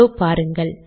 இதோ பாருங்கள்